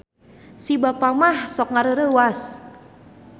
Si Bapa mah sok ngareureuwas